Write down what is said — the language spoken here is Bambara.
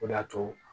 O de y'a to